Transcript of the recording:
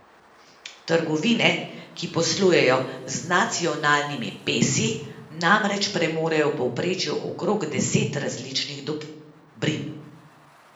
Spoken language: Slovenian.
Trgovine, ki poslujejo z nacionalnimi pesi, namreč premorejo v povprečju okrog deset različnih dobrin.